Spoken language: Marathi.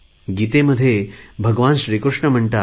गीतेत भगवान श्रीकृष्ण म्हणतात